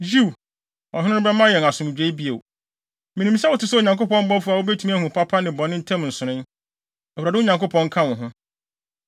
“Yiw, ɔhene no bɛma yɛn asomdwoe bio. ‘Minim sɛ wote sɛ Onyankopɔn bɔfo a wubetumi ahu papa ne bɔne ntam nsonoe. Awurade, wo Nyankopɔn, nka wo ho.’ ”